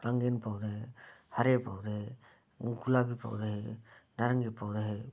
रंगीन पौधे हरे पौधे गुलाबी पौधे है नारंगी पौधे --